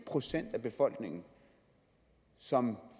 procent af befolkningen som